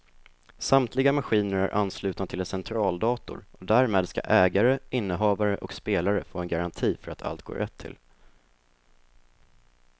Samtliga maskiner är anslutna till en centraldator och därmed ska ägare, innehavare och spelare få en garanti för att allt går rätt till.